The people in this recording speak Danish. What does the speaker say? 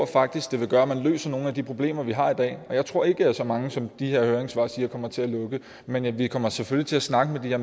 faktisk vil gøre at man løser nogle af de problemer vi har i dag jeg tror ikke at så mange som de her høringssvar siger kommer til at lukke men vi vi kommer selvfølgelig til at snakke med